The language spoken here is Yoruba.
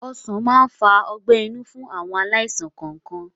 Ọsán máa ń fa ọgbẹ́-inú fún àwọn aláìsàn kọọkan